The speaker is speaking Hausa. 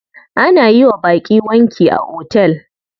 Ana yiwa baƙi wanki a hotel.